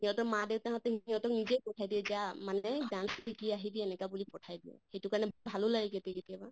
হিহঁতৰ মা দেইতাহঁতে হিহঁতক নিজে পঠাই দিয়ে যা monday dance শিকি আহিবি এনেকা বুলি পঠিয়াই দিয়ে। সিটো কাৰণে ভালো লাগে কেতিয়া কেতিয়াবা